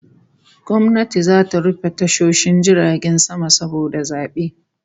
Gwamnati zata rufe tashoshin jiragen sama saboda zabe